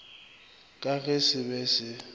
ka ge se be se